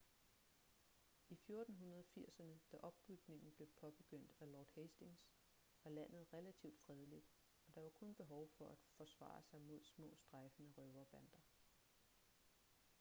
i 1480'erne da opbygningen blev påbegyndt af lord hastings var landet relativt fredeligt og der var kun behov for at forsvare sig mod små strejfende røverbander